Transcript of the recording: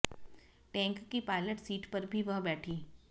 tank की pilot seat पर भी वह बैठीं